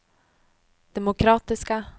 demokratiska